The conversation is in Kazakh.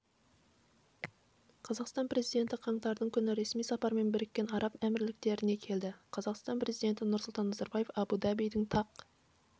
қазақстан президенті қаңтардың күні ресми сапармен біріккен араб әмірліктеріне келді қазақстан президенті нұрсұлтан назарбаев абу-дабидің тақ